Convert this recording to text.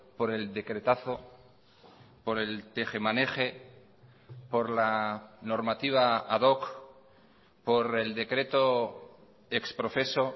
por el decretazo por el tejemaneje por la normativa ad hoc por el decreto ex profeso